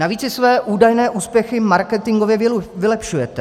Navíc si své údajné úspěchy marketingově vylepšujete.